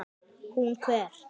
Hún hver?